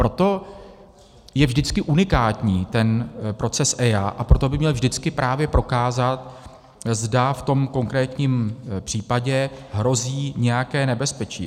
Proto je vždycky unikátní ten proces EIA a proto by měl vždycky právě prokázat, zda v tom konkrétním případě hrozí nějaké nebezpečí.